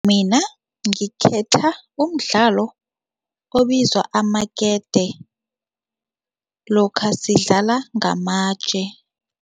Mina ngikhetha umdlalo obizwa amakete, lokha sidlala ngamatje.